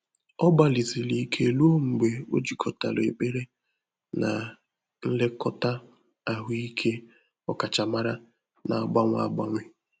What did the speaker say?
Ọ́ gbàlị̀sị̀rị̀ íké rùó mgbè ọ́ jìkọ́tàrà ékpèré nà nlèkọ́tà àhụ́ị́ké ọ́kàchàmárá nà-àgbànwé ágbànwé.